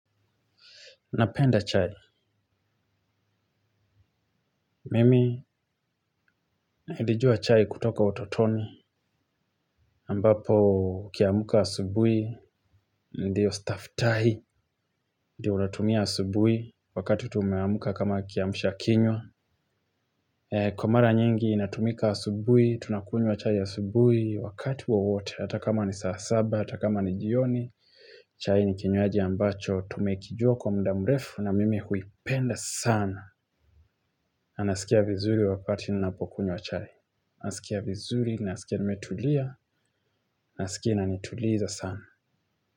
Napenda chai, mimi niliijua chai kutoka utotoni, ambapo ukiamka asubuhi, ndio staftahi, ndio unatumia asubuhi, wakati tumeamka kama kiamsha kinywa. Kwamara nyingi inatumika asubuhi, tunakunywa chai asubuhi, wakati wowote, hata kama ni saa saba, hata kama ni jioni. Chai ni kinywaji ambacho, tumekijua kwa mudamrefu na mimi huipenda sana. Na nasikia vizuri wakati ninapokunywa chai. Nasikia vizuri na sikia nimetulia. Nasikia ina nituliza sama.